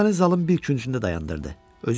O məni zalın bir küncündə dayandırdı.